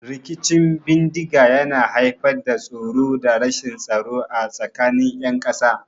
Rikicin bindiga yana haifar da tsoro da rashin tsaro a tsakanin ƴan ƙasa.